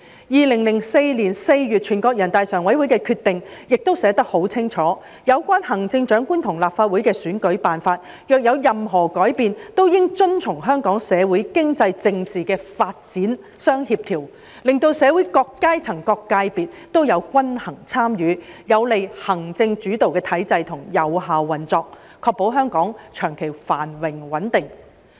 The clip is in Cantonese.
2004年4月，全國人大常委會的有關決定亦寫得很清楚，有關行政長官和立法會的選舉辦法若有任何改變，均應遵從香港社會、經濟、政治的發展相協調，令到社會各階層、各界別也有均衡參與，有利行政主導的體制的有效運作，確保香港長期繁榮穩定。